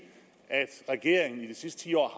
at regeringen de sidste ti år